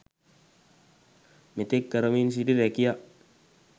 මෙතෙක් කරමින් සිටි රැකියා